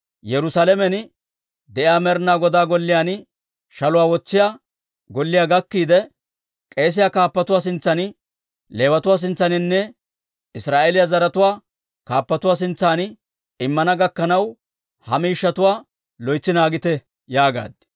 Yerusaalamen de'iyaa Med'ina Godaa Golliyaan shaluwaa wotsiyaa golliyaa gakkiide, k'eesiyaa kaappatuwaa sintsan, Leewatuwaa sintsaaninne Israa'eeliyaa zaratuwaa kaappatuwaa sintsan immana gakkanaw, ha miishshatuwaa loytsi naagite» yaagaad.